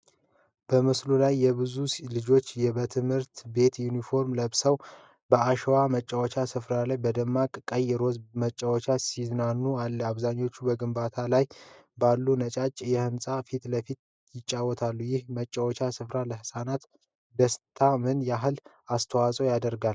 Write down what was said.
በምስሉ ላይ ብዙ ልጆች በትምህርት ቤት ዩኒፎርም ለብሰው በአሸዋማ መጫወቻ ስፍራ ላይ በደማቅ ቀይና ሮዝ መጫወቻዎች ሲዝናኑ አለ። አብዛኞቹ በግንባታ ላይ ባሉ ነጫጭ ህንጻዎች ፊትለፊት ይጫወታሉ። ይህ መጫወቻ ስፍራ ለህጻናቱ ደስታ ምን ያህል አስተዋጽኦ ያደርጋል?